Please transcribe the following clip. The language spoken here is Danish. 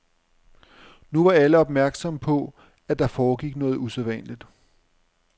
Nu var alle opmærksomme på, at der foregik noget usædvanligt.